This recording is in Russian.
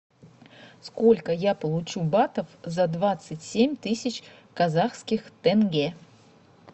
сколько я получу батов за двадцать семь тысяч казахских тенге